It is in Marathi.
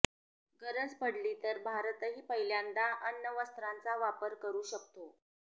गरज पडली तर भारतही पहिल्यांदा अण्वस्त्रांचा वापर करु शकतो